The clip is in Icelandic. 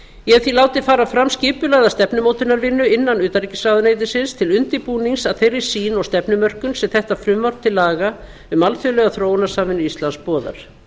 ég hef því látið fara fram skipulagða stefnumótunarvinnu innan utanríkisráðuneytisins til undirbúnings að þeirri sýn og stefnumörkun sem þetta frumvarp til laga um alþjóðlega þróunarsamvinnu íslands boðar